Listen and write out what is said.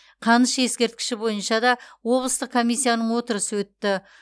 қаныш ескерткіші бойынша да облыстық комиссияның отырысы өтті